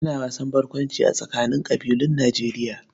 Ana wasan barkwanci a tsakanin ƙabilun Nijerya